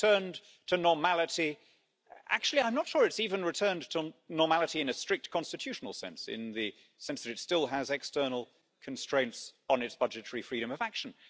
It has returned to normality. Actually, I'm not sure it has even returned to normality in a strict constitutional sense in the sense that it still has external constraints on its budgetary freedom of action.